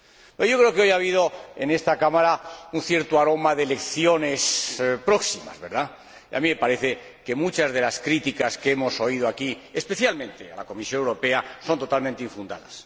Pero yo creo que hoy ha habido en esta Cámara un determinado aroma de elecciones próximas, y a mí me parece que muchas de las críticas que hemos oído aquí, especialmente a la Comisión Europea, son totalmente infundadas.